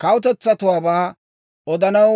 k'aalay hawaa.